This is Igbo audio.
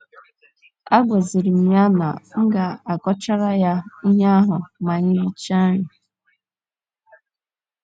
Agwaziri m ya na m ga - akọchara ya ihe ahụ ma anyị richaa nri.